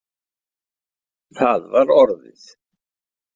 Það var orðið.